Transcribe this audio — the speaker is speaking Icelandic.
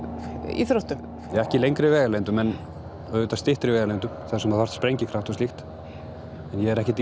íþróttum ekki í lengri vegalengdum en auðvitað styttri vegalengdum þar sem þú þarft sprengikraft og slíkt en ég er ekkert í